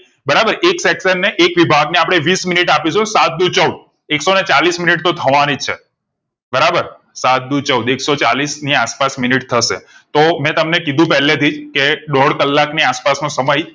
બરાબર એક section ને એક વિભાગ ને અપડે વિસ મિનિટ આપીશું સાત દુ ચૌદ એકસો ને ચાલીશ મિનિટ તો થવા નિજ છે બરાબર સાત દુ ચૌદ એકસો ચાલીશ ની આસપાસ મિનિટ થશે તો મેં તમને કીધું પેહેલે થી જ કે દોઢ કલાક ની આસપાસ નો સમય